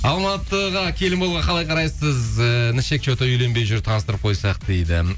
алматыға келін болуға қалай қарайсыз і інішек че то үйленбей жүр таныстырып қойсақ дейді